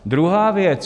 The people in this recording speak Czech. Druhá věc.